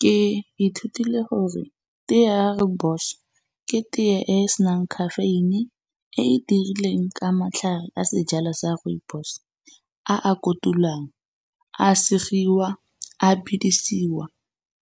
Ke ithutile gore teye ya rooibos ke teye e e senang caffeine-i e e dirilweng ka matlhare a sejalo sa rooibos, a a kotulwang a segiwa, a bedisiwa